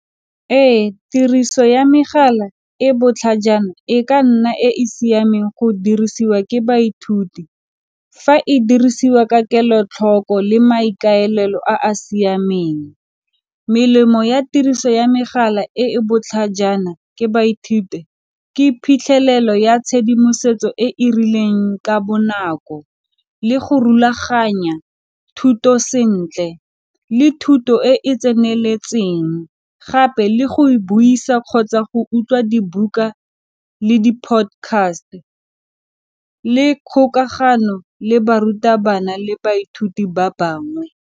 Ee tiriso ya megala e botlhajana e ka nna e e siameng go dirisiwa ke baithuti fa e dirisiwa ka kelotlhoko le maikaelelo a a siameng. Melemo ya tiriso ya megala e e botlhajana ke baithuti ke phitlhelelo ya tshedimosetso e e rileng ka bonako le go rulaganya thuto sentle, le thuto e e tseneletseng, gape le go buisa kgotsa go utlwa dibuka le di podcast le kgokagano le barutabana le baithuti ba bangwe.